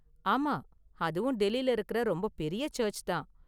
ஆமா, அதுவும் டெல்லில இருக்குற ரொம்ப பெரிய சர்ச் தான்.